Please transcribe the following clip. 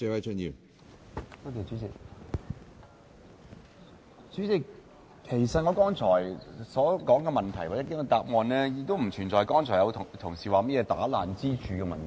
主席，其實我剛才所說的問題或局長的答案，並不存在剛才有同事所說破壞支柱的問題。